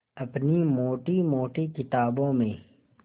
अपनी मोटी मोटी किताबों में